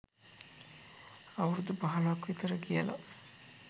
අවුරුදු පහලොවක් විතර කියලා.